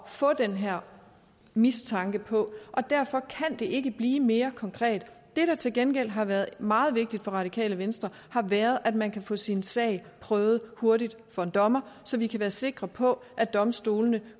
få den her mistanke på og derfor kan det ikke blive mere konkret det der til gengæld har været meget vigtigt for radikale venstre har været at man kan få sin sag prøvet hurtigt for en dommer så vi kan være sikre på at domstolene